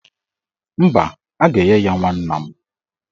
Mba, a ga-enye ya nwanna m